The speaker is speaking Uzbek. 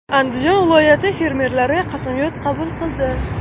Andijon viloyati fermerlari qasamyod qabul qildi .